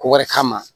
Ko wɛrɛ kama